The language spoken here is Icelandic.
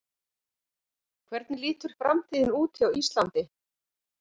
Hvernig lítur framtíðin út hjá Íslandi?